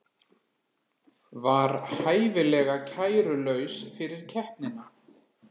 Var hæfilega kærulaus fyrir keppnina